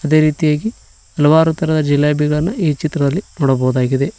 ಅದೆ ರೀತಿಯಾಗಿ ಹಲವಾರು ತರಹದ ಜಿಲೇಬಿಗಳನ್ನು ಈ ಚಿತ್ರದಲ್ಲಿ ನೋಡಬಹುದಾಗಿದೆ.